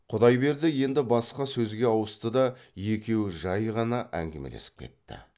құдайберді енді басқа сөзге ауысты да екеуі жай ғана әңгімелесіп кетті